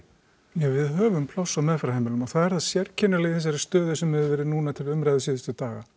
ja við höfum pláss á meðferðarheimilum og það er það sérkennilega í þessari stöðu sem hefur verið núna til umræðu síðustu daga